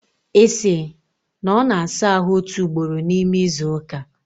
Isi! na ọ na-asa ahụ otu ugboro n'ime izu ụka?